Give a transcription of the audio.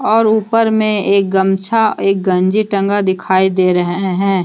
और ऊपर में एक गमछा एक गंजी टंगा दिखाई दे रहे हैं।